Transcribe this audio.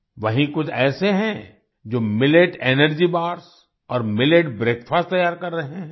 वहीँ कुछ ऐसे हैं जो मिलेट एनर्जी बार्स और मिलेट ब्रेकफास्ट तैयार कर रहे हैं